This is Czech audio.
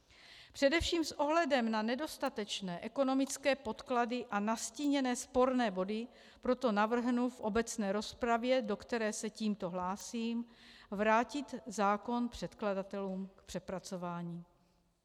Především s ohledem na nedostatečné ekonomické podklady a nastíněné sporné body proto navrhnu v obecné rozpravě, do které se tímto hlásím, vrátit zákon předkladatelům k přepracování.